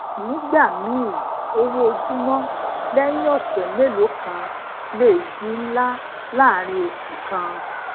nígbà míì owó ojumo leyin ose meloo kan le di nla laaarin osu kan